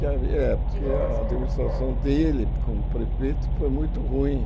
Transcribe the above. Que havi é, porque a administração dele como prefeito foi muito ruim.